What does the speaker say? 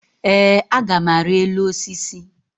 Ee, a gam ari elu osisi